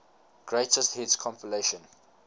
greatest hits compilation